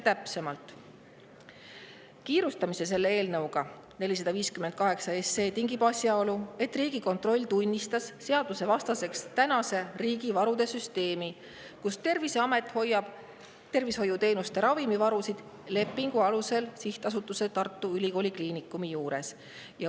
Täpsemalt, kiirustamise eelnõuga 458 tingib asjaolu, et Riigikontroll on seadusvastaseks tunnistanud tänase riigi varude süsteemi, mille kohaselt Terviseamet hoiab tervishoiuteenuste jaoks ravimivarusid lepingu alusel Sihtasutuse Tartu Ülikooli Kliinikum juures.